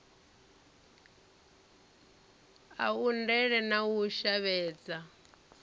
a undele na u shavhedza